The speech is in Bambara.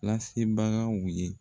Lasebagaw ye